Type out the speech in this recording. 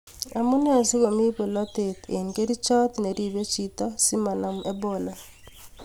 Amunee sigomii bolotet eng kerchot neribe chito simanam Ebola?